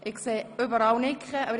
– Ich sehe überall Nicken.